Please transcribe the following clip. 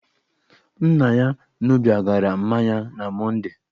Nna ya ṅụbigara mmanya na Mondee.